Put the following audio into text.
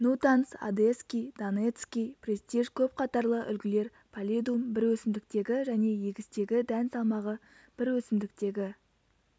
нутанс одесский донецкий престиж көп қатарлы үлгілер паллидум бір өсімдіктегі және егістегі дән салмағы бір өсімдіктегі